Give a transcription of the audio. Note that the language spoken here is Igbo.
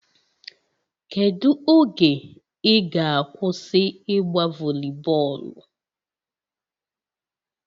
Kedu oge ị ga-akwụsị ịgba voli bọọlụ?